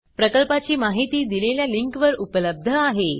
प्रकल्पाची माहिती दिलेल्या लिंकवर उपलब्ध आहे